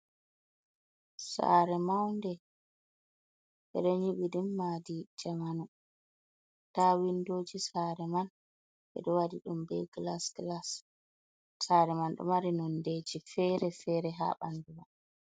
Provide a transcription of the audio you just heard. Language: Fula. Sare maunde ɓe ɗo nyibi nde madi jamanu. Nda windoji sare man, ɓe ɗo wadi ɗum be glas glas. Sare man ɗo mari nonde ji fere-fere ha ɓandu man.